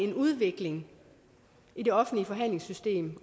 en udvikling i det offentlige forhandlingssystem